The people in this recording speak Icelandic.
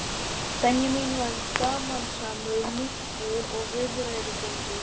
Benjamín var gamansamur munkur og viðræðugóður.